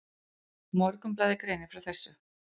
Morgunblaðið greinir frá þessu.